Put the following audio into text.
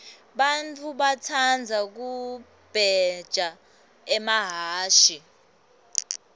bantfu batsandza kubheja emahhashi